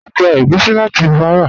A gbà ègúsì láti Bàrà.